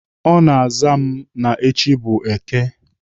Ọ na-aza m na echi bụ Èké